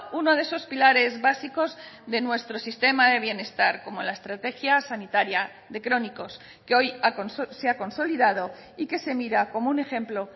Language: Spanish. uno de esos pilares básicos de nuestro sistema de bienestar como la estrategia sanitaria de crónicos que hoy se ha consolidado y que se mira como un ejemplo